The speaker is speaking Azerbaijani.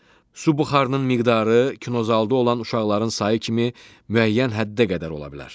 Su buxarının miqdarı kinozalda olan uşaqların sayı kimi müəyyən həddə qədər ola bilər.